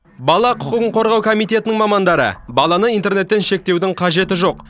бала құқығын қорғау комитетінің мамандары баланы интернеттен шектеудің қажеті жоқ